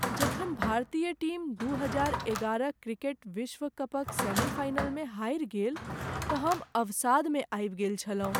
जखन भारतीय टीम दू हजार एगारह क्रिकेट विश्व कपक सेमीफाइनलमे हारि गेल तँ हम अवसादमे आबि गेल छलहुँ।